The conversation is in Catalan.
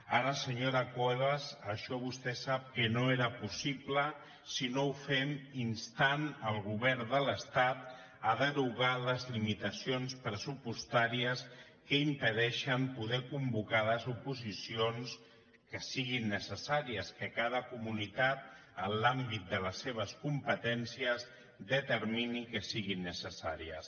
ara senyor cuevas això vostè sap que no era possible si no ho fem instant el govern de l’estat a derogar les limitacions pressupostàries que impedeixen poder convocar les oposicions que siguin necessàries que cada comunitat en l’àmbit de les seves competències determini que siguin necessàries